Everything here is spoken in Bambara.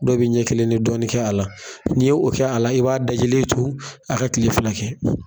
Dɔw bi ɲɛ kelen ni dɔɔnin kɛ a la n'i ye o kɛ a la i b'a dajilen to a ka kile fila kɛ.